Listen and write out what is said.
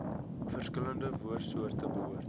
verskillende woordsoorte behoort